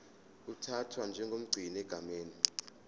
uthathwa njengomgcini egameni